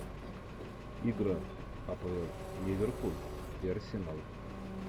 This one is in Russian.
игра апл ливерпуль и арсенал